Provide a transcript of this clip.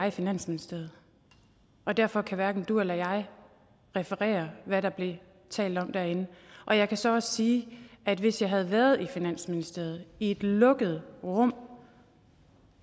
i finansministeriet og derfor kan hverken du eller jeg referere hvad der blev talt om derinde og jeg kan så også sige at hvis jeg havde været i finansministeriet i et lukket rum